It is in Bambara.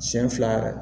Siɲɛ fila yɛrɛ